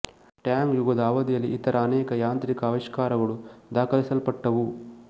Tang ಯುಗದ ಅವಧಿಯಲ್ಲಿ ಇತರ ಅನೇಕ ಯಾಂತ್ರಿಕ ಆವಿಷ್ಕಾರಗಳು ದಾಖಲಿಸಲ್ಪಟ್ಟವು